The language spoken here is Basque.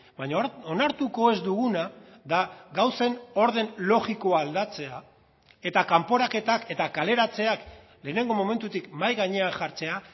baina onartuko ez duguna da gauzen orden logikoa aldatzea eta kanporaketak eta kaleratzeak lehenengo momentutik mahai gainean jartzea